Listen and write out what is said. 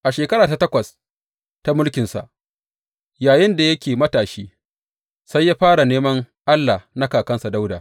A shekara ta takwas ta mulkinsa, yayinda yake matashi, sai ya fara neman Allah na kakansa Dawuda.